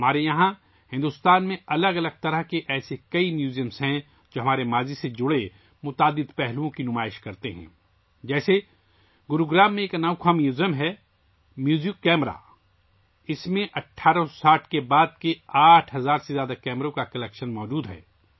ہمارے پاس بھارت میں بہت سے مختلف قسم کے عجائب گھر ہیں، جو ہمارے ماضی سے متعلق بہت سے پہلوؤں کو ظاہر کرتے ہیں، جیسے، گروگرام میں ایک انوکھا میوزیم ہے موزیو کیمرہ، اس میں 1860 کے بعد کے 8 ہزار سے زیادہ کیمروں کا کلیکشن موجود ہے